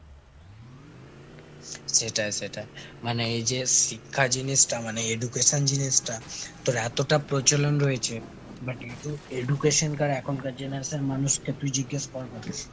সেটাই সেটাই। মানে এই যে শিক্ষা জিনিসটা মানে education জিনিসটা তোর এতটা প্রচলন রয়েছে, but edu~ education কার এখনকার generation মানুষকে তুই জিজ্ঞেস কর